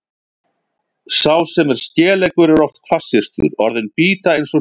Sá sem er skeleggur er oft hvassyrtur, orðin bíta eins og hnífsegg.